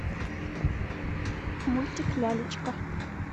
мультик лялечка